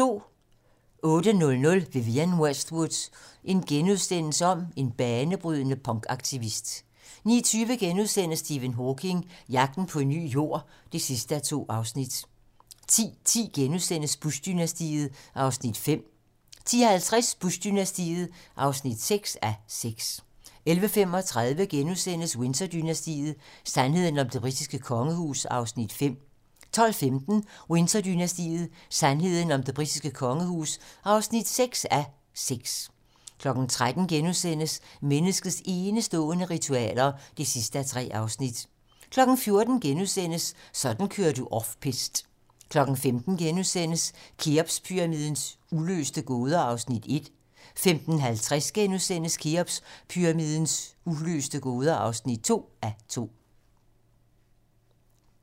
08:00: Vivienne Westwood - en banebrydende punkaktivist * 09:20: Stephen Hawking: Jagten på en ny Jord (2:2)* 10:10: Bush-dynastiet (5:6)* 10:50: Bush-dynastiet (6:6) 11:35: Windsor-dynastiet: Sandheden om det britiske kongehus (5:6)* 12:15: Windsor-dynastiet: Sandheden om det britiske kongehus (6:6) 13:00: Menneskets enestående ritualer (3:3)* 14:00: Sådan kører du off piste * 15:00: Kheopspyramidens uløste gåder (1:2)* 15:50: Kheopspyramidens uløste gåder (2:2)*